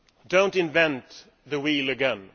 Do not invent the wheel again.